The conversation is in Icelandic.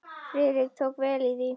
Friðrik tók því vel.